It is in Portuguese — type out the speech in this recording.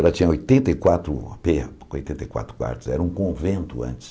Ela tinha oitenta e quatro pe oitenta e quatro quartos, era um convento antes.